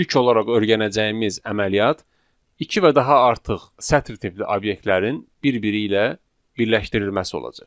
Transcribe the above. İlk olaraq öyrənəcəyimiz əməliyyat iki və daha artıq sətr tipli obyektlərin bir-biri ilə birləşdirilməsi olacaq.